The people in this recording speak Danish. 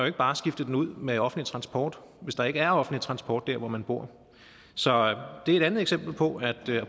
ikke bare skifte den ud med offentlig transport hvis der ikke er offentlig transport der hvor man bor så det er et andet eksempel på at